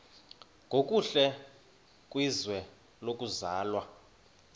nokuhle kwizwe lokuzalwa